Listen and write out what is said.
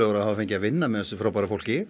að hafa fengið að vinna með þessu fólki